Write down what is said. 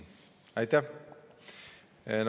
Aitäh!